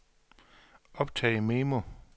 optag memo